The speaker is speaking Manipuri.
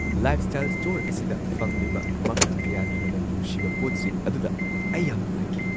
ꯂꯥꯏꯐꯁ꯭ꯇꯥꯏꯜ ꯁ꯭ꯇꯣꯔ ꯑꯁꯤꯗ ꯐꯪꯂꯤꯕ ꯃꯈꯜ ꯀꯌꯥꯒꯤ ꯃꯅꯝ ꯅꯨꯡꯁꯤꯕ ꯄꯣꯠꯁꯤꯡ ꯑꯗꯨꯗ ꯑꯩ ꯌꯥꯝ ꯅꯨꯡꯉꯥꯏꯈꯤ ꯫